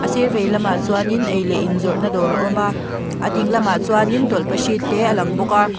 a sir vei lamah chuanin ei leh in zawrhna dawr a awm a a ding lamah chuanin tawlhpahrit te a lang bawk a.